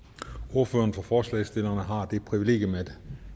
ordføreren for forslagsstillerne har det privilegium at